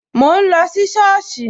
Mo ń lọ sí soosi